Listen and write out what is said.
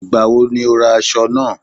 Ìgbà wo ni o ra aṣọ náà?